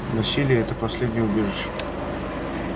насилие это последнее убежище